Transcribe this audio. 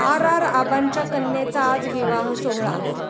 R. R. आबांच्या कन्येचा आज विवाह सोहळा